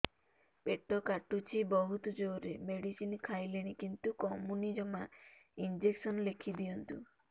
ପେଟ କାଟୁଛି ବହୁତ ଜୋରରେ ମେଡିସିନ ଖାଇଲିଣି କିନ୍ତୁ କମୁନି ଜମା ଇଂଜେକସନ ଲେଖିଦିଅନ୍ତୁ